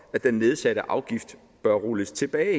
at den nedsatte afgift bør rulles tilbage